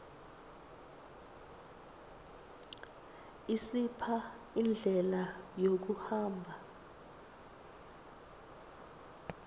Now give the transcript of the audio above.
isipha indlela yokuhamba